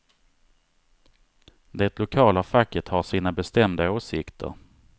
Det lokala facket har sina bestämda åsikter.